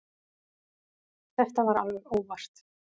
Þetta var alveg óvart.